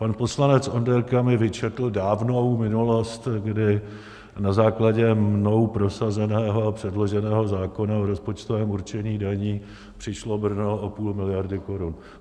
Pan poslanec Onderka mi vyčetl dávnou minulost, kdy na základě mnou prosazeného a předloženého zákona v rozpočtovém určení daní přišlo Brno o půl miliardy korun.